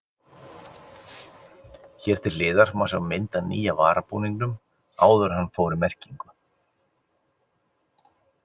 Hér til hliðar má sjá mynd af nýja varabúningnum áður en hann fór í merkingu.